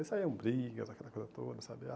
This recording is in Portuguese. Aí saíam brigas, aquela coisa toda, sabe?